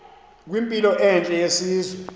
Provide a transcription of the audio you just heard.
kwimpilo entle yesizwe